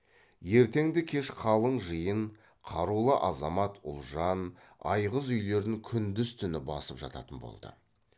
ертеңді кеш қалың жиын қарулы азамат ұлжан айғыз үйлерін күндіз түні басып жататын болды